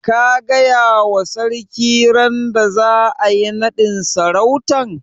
Ka gaya wa sarki randa za'a yi naɗin sarautan?